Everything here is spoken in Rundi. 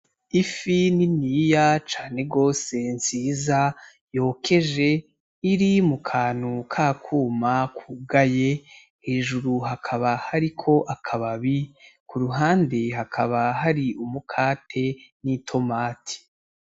Ifi niniya cane rwose nziza yokeje iri mu kantu k'akuma kugaye, hejuru hakaba hariko akababi, ku ruhande hakaba hari umukate n'itomati.